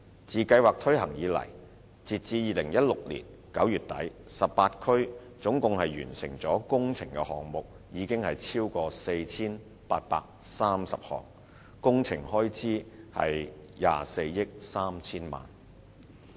自計劃推行以來，截至2016年9月底 ，18 區總共完成的工程項目超過 4,830 項，工程開支約達24億 3,000 萬元。